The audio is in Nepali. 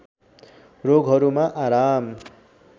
रोगहरूमा आराम